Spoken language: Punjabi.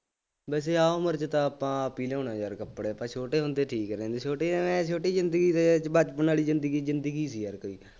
ਵੈਸੇ ਆਹ ਉਮਰ ਚ ਤਾਂ ਆਪਾਂ ਆਪ ਹੀ ਲਿਆਉਂਦੇ ਹਾਂ ਯਾਰ ਕੱਪੜੇ, ਆਪਾਂ ਛੋਟੇ ਹੁੰਦੇ ਠੀਕ ਰਹਿੰਦੇ ਸੀ ਛੋਟੇ ਜਾਣੇ ਛੋਟੀ ਜ਼ਿੰਦਗੀ ਦੇ ਬਚਪਨ ਵਾਲੀ ਜ਼ਿੰਦਗੀ ਜ਼ਿੰਦਗੀ ਸੀ ਯਾਰ ਕੋਈ